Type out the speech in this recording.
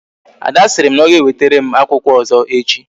Ada sịrị na ọ ga ewetere m akwụkwọ ọzọ echi